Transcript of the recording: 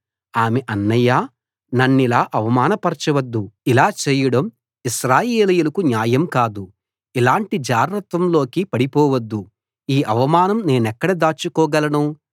ఆమె అన్నయ్యా నన్నిలా అవమానపరచొద్దు ఇలా చేయడం ఇశ్రాయేలీయులకు న్యాయం కాదు ఇలాంటి జారత్వం లోకి పడిపోవద్దు ఈ అవమానం నేనెక్కడ దాచుకోగలను